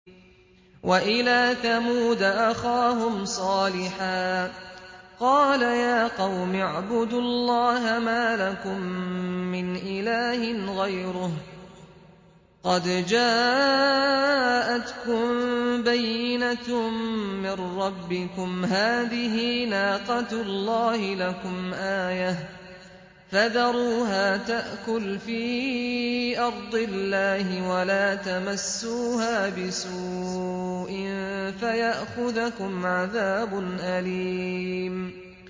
وَإِلَىٰ ثَمُودَ أَخَاهُمْ صَالِحًا ۗ قَالَ يَا قَوْمِ اعْبُدُوا اللَّهَ مَا لَكُم مِّنْ إِلَٰهٍ غَيْرُهُ ۖ قَدْ جَاءَتْكُم بَيِّنَةٌ مِّن رَّبِّكُمْ ۖ هَٰذِهِ نَاقَةُ اللَّهِ لَكُمْ آيَةً ۖ فَذَرُوهَا تَأْكُلْ فِي أَرْضِ اللَّهِ ۖ وَلَا تَمَسُّوهَا بِسُوءٍ فَيَأْخُذَكُمْ عَذَابٌ أَلِيمٌ